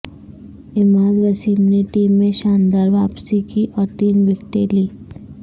عماد وسیم نے ٹیم میں شاندار واپسی کی اور تین وکٹیں لیں